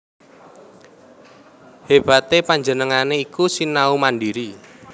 Hébaté panjenengané iku sinau mandhiri